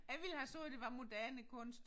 Jeg ville have sagt det var moderne kunst